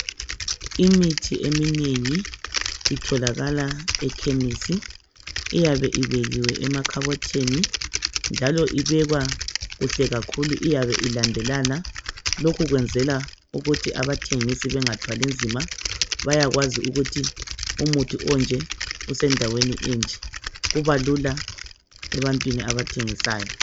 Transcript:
Imithi eminengi itholakala ekhemisi .Iyabe ibekiwe emakhabothini njalo ibekwa kuhle kakhulu iyabe ilandelana lokhu kwenzelwa ukuthi abathengisi bengathwali nzima . Bayakwazi ukuthi umuthi onje usendaweni enje . Kuba lula ebantwini abathengisayo